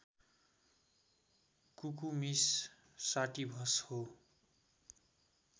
Cucumis sativus हो